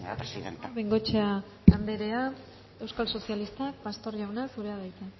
presidenta bengoechea anderea euskal sozialista pastor jauna zurea da hitza